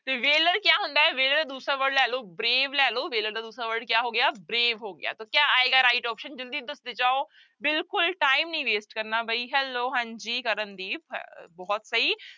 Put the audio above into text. ਤੇ valour ਕਿਆ ਹੁੰਦਾ ਹੈ valour ਦੂਸਰਾ word ਲੈ ਲਓ brave ਲੈ ਲਓ valour ਦਾ ਦੂਸਰਾ word ਕਿਆ ਹੋ ਗਿਆ brave ਹੋ ਗਿਆ ਤਾਂ ਕਿਆ ਆਏਗਾ right option ਜ਼ਲਦੀ ਦੱਸਦੇ ਜਾਓ ਬਿਲਕੁਲ time ਨੀ waste ਕਰਨਾ ਬਈ hello ਹਾਂਜੀ ਕਰਨਦੀਪ ਹ ਬਹੁਤ ਸਹੀ